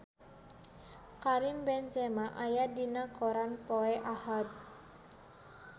Karim Benzema aya dina koran poe Ahad